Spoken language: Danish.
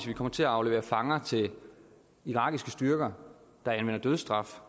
vi kommer til at aflevere fanger til irakiske styrker der anvender dødsstraf